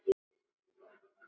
Árangur varð nokkur.